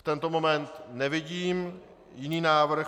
V tento moment nevidím jiný návrh.